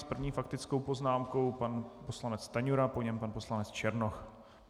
S první faktickou poznámkou pan poslanec Stanjura, po něm pan poslanec Černoch.